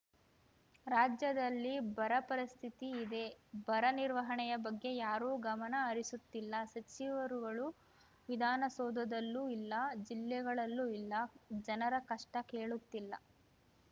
ರಾಜ್ಯದಲ್ಲಿ ಬರ ಪರಿಸ್ಥಿತಿ ಇದೆ ಬರ ನಿರ್ವಹಣೆಯ ಬಗ್ಗೆ ಯಾರೂ ಗಮನ ಹರಿಸುತ್ತಿಲ್ಲ ಸಚಿವರುಗಳು ವಿಧಾನಸೌಧದಲ್ಲೂ ಇಲ್ಲ ಜಿಲ್ಲೆಗಳಲ್ಲೂ ಇಲ್ಲ ಜನರ ಕಷ್ಟ ಕೇಳುತ್ತಿಲ್ಲ